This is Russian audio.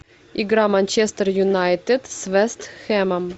игра манчестер юнайтед с вест хэмом